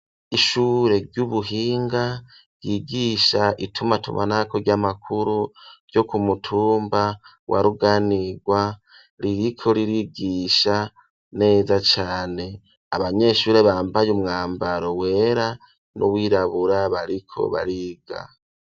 Ishure ry'ubuhinga ryigisha itumatumanako ry'amakuru ryo kumutumba wa Ruganirwa, ririko ririgisha neza cane ,abanyeshure bambaye umwambaro wera n'uwirabura bariko bariga.